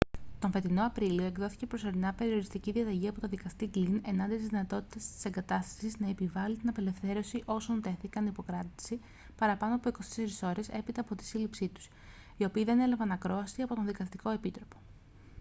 τον φετινό απρίλιο εκδόθηκε προσωρινά περιοριστική διαταγή από τον δικαστή γκλιν εναντίον της δυνατότητας της εγκατάστασης να επιβάλει την απελευθέρωση όσων τέθηκαν υπό κράτηση παραπάνω από 24 ώρες έπειτα από τη σύλληψή τους οι οποίοι δεν έλαβαν ακρόαση από τον δικαστικό επίτροπο